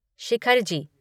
Shikharji